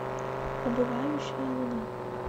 убывающая луна